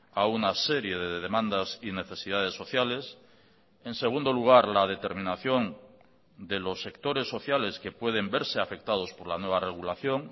a una serie de demandas y necesidades sociales en segundo lugar la determinación de los sectores sociales que pueden verse afectados por la nueva regulación